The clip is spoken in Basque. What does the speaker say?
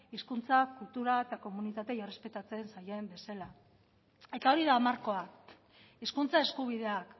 hizkuntzak kulturak eta komunitateei errespetatzen zaien bezala eta hori da markoa hizkuntza eskubideak